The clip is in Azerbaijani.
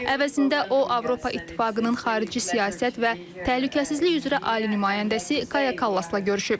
Əvəzində o, Avropa İttifaqının xarici siyasət və təhlükəsizlik üzrə ali nümayəndəsi Kaja Kallasla görüşüb.